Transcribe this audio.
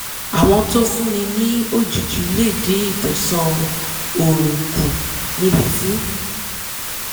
àwọn tó fúnni ní òjìji lè dín ìtànṣán oòrùn kù níbi tí